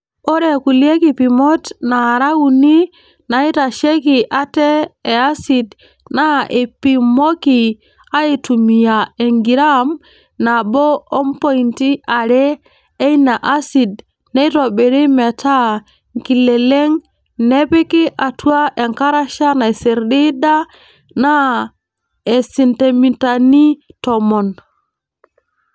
Ore kulie kipimot naara uni naaitasheki ate e asid naa eipimoki aaitumiya engiraam nabo o mpointi are eina asid neitobiri metaa nkileleng nepiki atua enkarasha naisirdiida naa isentimitani tomon.